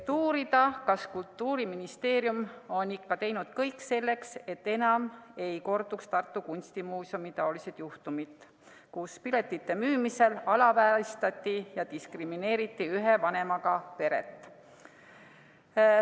Soovime teada, kas Kultuuriministeerium on teinud kõik selleks, et enam ei korduks sellised juhtumid nagu Tartu Kunstimuuseumis, kus piletite müümisel alavääristati ja diskrimineeriti ühe vanemaga peret.